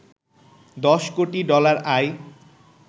১০ কোটি ডলার আয়